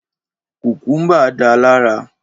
Kùkúmbà da lara.